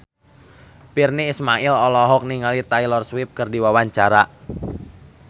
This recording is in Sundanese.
Virnie Ismail olohok ningali Taylor Swift keur diwawancara